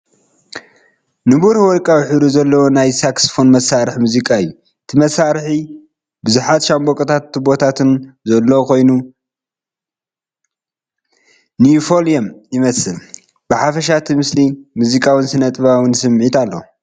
ንብሩህ ወርቃዊ ሕብሪ ዘለዎ ናይ ሳክስፎን መሳርሒ ሙዚቃ እዩ። እቲ መሳርሒ ብዙሓት ሻምብቆታትን ቱቦታትን ዘለዎ ኮይኑ ንዩፎንየም ይመስል። ብሓፈሻ እቲ ምስሊ ሙዚቃውን ስነ-ጥበባውን ስምዒት ኣለዎ።